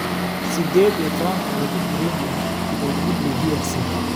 Siddeed iyo tobaan Qaxooti Burundi ah oo lagu dilay DR Congo